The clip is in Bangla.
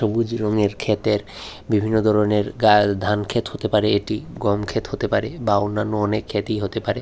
সবুজ রঙ এর ক্ষেতের বিভিন্ন ধরনের গা গাছ ধান ক্ষেত হতে পারে এটি গম ক্ষেত হতে পারে বা অন্যান্য অনেক ক্ষেতই হতে পারে।